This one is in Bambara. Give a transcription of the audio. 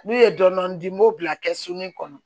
N'u ye dɔɔnin di n b'o bila kɛsu ni kɔnɔ